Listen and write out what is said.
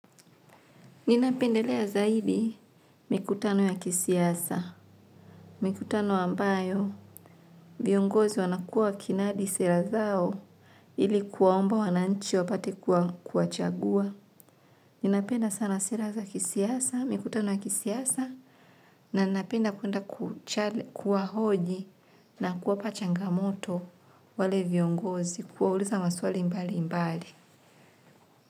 Ninapendelea zaidi mkutano ya kisiasa. Mikutano ambayo viongozi wanakuwa kinadi sera zao ili kuwaomba wananchi wapate kuwachagua. Ninapenda sana sera za kisiasa mikutano ya kisiasa na napenda kuenda kuwa hoji na kuwapa changamoto wale viongozi kuwauliza maswali mbali mbali.